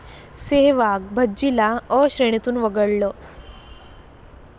सेहवाग, भज्जीला 'अ' श्रेणीतून वगळलं